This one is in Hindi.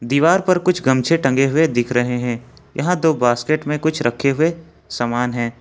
दीवार पर कुछ गमछे टंगे हुए दिख रहे हैं यहां दो बास्केट में कुछ रखे हुए सामान हैं।